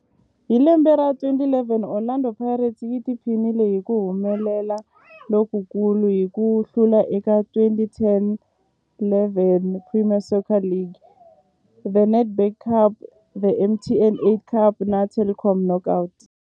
Hi lembe ra 2011, Orlando Pirates yi tiphinile hi ku humelela lokukulu hi ku hlula eka 2010-11 Premier Soccer League, The Nedbank Cup, The MTN 8 Cup na The Telkom Knockout.